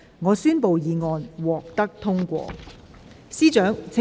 我宣布議案獲得通過。